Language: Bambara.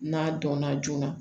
N'a dɔnna joona